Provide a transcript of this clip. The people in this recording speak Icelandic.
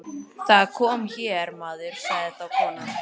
Það kom hér maður, sagði þá konan.